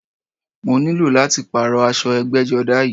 Mo ní lò láti pààrọ̀ aṣọ ẹgbẹ́jọdá yìí